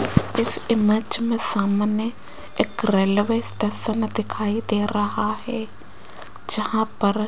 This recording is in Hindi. इस इमेज में सामने एक रेलवे स्टेशन दिखाई दे रहा है जहां पर --